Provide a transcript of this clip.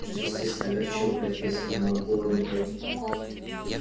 что естественно огорчило профессора макгонагалл